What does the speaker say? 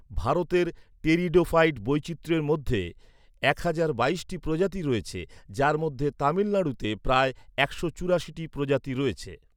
ভারতের টেরিডোফাইট বৈচিত্র্যের মধ্যে এক হাজার বাইশটি প্রজাতি রয়েছে, যার মধ্যে তামিলনাড়ুতে প্রায় একশো চুরাশিটি প্রজাতি রয়েছে।